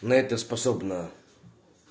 на это способна